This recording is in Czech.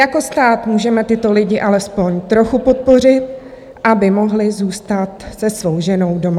Jako stát můžeme tyto lidi alespoň trochu podpořit, aby mohli zůstat se svou ženou doma.